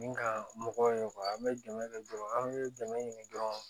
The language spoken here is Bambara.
Ni ka mɔgɔw ye an bɛ dɛmɛ kɛ dɔrɔn an bɛ dɛmɛ ɲini dɔrɔn